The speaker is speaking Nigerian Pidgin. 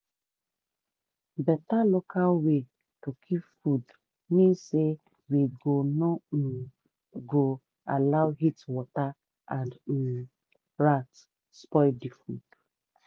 better local way to keep food mean say we go no um go allow heatwater and um rats spoil the food.